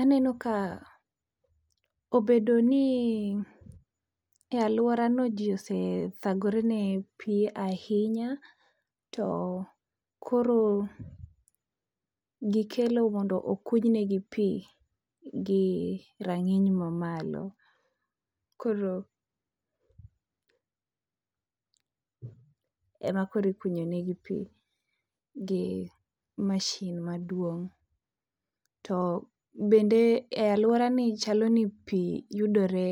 Aneno ka obedo ni e aluorani ji osethangore ne pi ahinya to koro gikelo mondo okuny negi pi gi rang'iny mamalo, ema koro ikunyo negi pi gi masin maduong'. To bende e aluorani chalo ni pi yudore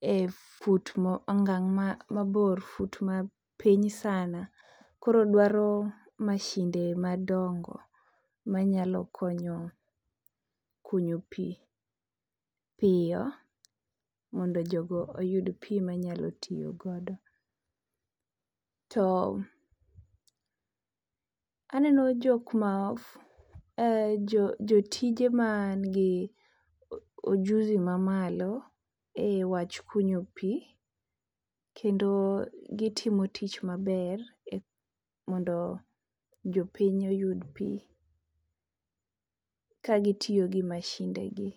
e fut ma ongang' ma mabor fut mapiny sana koro dwaro masinde madongo manyalo konyo kunyo pi piyo mondo jogo oyud pi manyalo tiyo godo. To aneno jok ma jotije man gi ojuzi mamalo ewach kunyo pi kendo gitimo tich maber mondo jopiny oyud pi kagitiyo gi masinde gi.